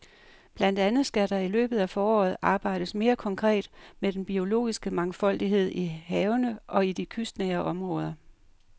Blandt andet skal der i løbet af foråret arbejdes mere konkret med den biologiske mangfoldighed i havene og i de kystnære områder.